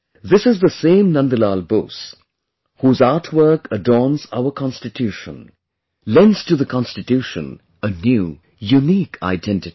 This is the same Nandlal Bose whose artwork adorns our Constitution; lends to the Constitution a new, unique identity